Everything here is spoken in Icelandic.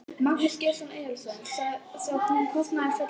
Magnús Geir Eyjólfsson: Sá kostnaður fellur á ríkið eða?